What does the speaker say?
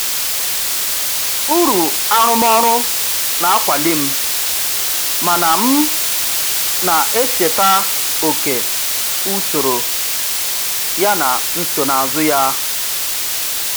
Uru arụmọrụ na-akwali m, mana m na-echeta oke usoro yana nsonaazụ ya.